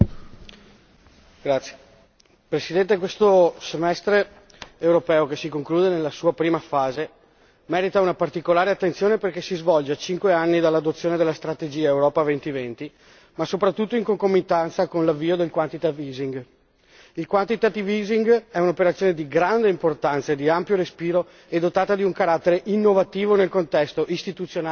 Signor Presidente, onorevoli colleghi, questo semestre europeo, che si conclude nella sua prima fase, merita una particolare attenzione perché si svolge a cinque anni dall'adozione della strategia Europa 2020 ma soprattutto in concomitanza con l'avvio del Il quantitative easing è un'operazione di grande importanza, di ampio respiro e dotata di un carattere innovativo nel contesto istituzionale e finanziario europeo.